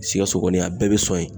Sikaso kɔni, a bɛɛ be sɔn yen.